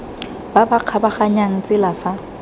ba ba kgabaganyang tsela fa